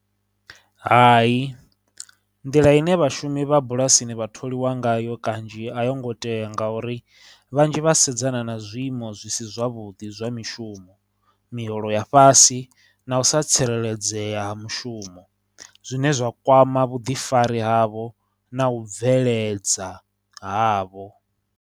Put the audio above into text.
Hai, nḓila ine vhashumi vha bulasini vha tholiwa ngayo kanzhi a yo ngo tea ngauri vhanzhi vha sedzana na zwiiimo zwi si zwavhuḓi zwa mishumo, miholo ya fhasi, na u sa tsireledzea ha mushumo, zwine zwa kwama vhuḓifari havho na u bveledza havho.